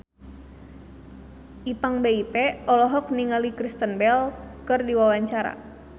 Ipank BIP olohok ningali Kristen Bell keur diwawancara